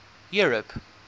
europe